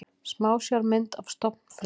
Smásjármynd af stofnfrumu.